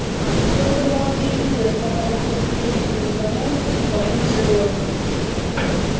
только молодые люди оставались по-прежнему неугомонны и полны задора